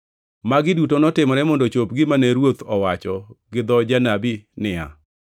Magi duto notimore mondo ochop gima ne Ruoth owacho gi dho janabi niya,